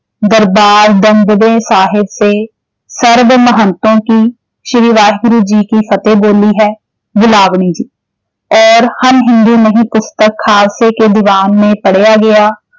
ਦਰਬਾਰ ਦਮਦਮੇ ਸਾਹਿਬ ਤੇ ਸਰਬ ਮਹੰਤੋ ਕੀ ਸ਼੍ਰੀ ਵਾਹਿਗੁਰੂ ਜੀ ਕੀ ਫਤਿਹ ਬੋਲੀ ਹੈ ਬਿਲਾਵਲੀ ਜੀ, ਔਰ ਹਮ ਹਿੰਦੂ ਨਹੀਂ ਪੁਸਤਕ ਖਾਲਸੇ ਕੇ ਦੀਵਾਨ ਮੇਂ ਪੜਿਆ ਗਿਆ।